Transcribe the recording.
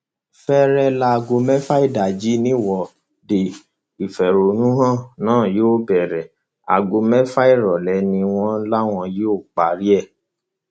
fẹẹrẹ láago mẹfà ìdájí nìwọde ìfẹhónú hàn náà yóò bẹrẹ aago mẹfà ìrọlẹ ni wọn láwọn yóò parí ẹ